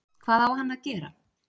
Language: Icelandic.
Hvað á hann að gera